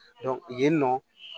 yen nɔ